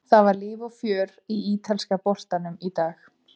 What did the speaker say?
Það var líf og fjör í ítalska boltanum í dag.